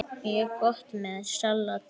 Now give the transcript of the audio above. Mjög gott með salati.